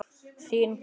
Þín, Guðný.